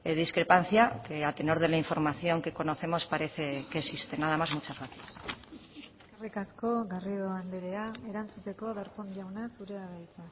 discrepancia que a tenor de la información que conocemos parece que existe nada más muchas gracias eskerrik asko garrido andrea erantzuteko darpón jauna zurea da hitza